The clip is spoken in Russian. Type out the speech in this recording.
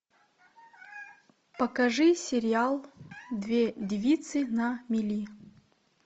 покажи сериал две девицы на мели